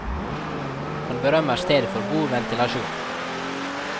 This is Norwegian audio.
Han berømmer stedet for god ventilasjon.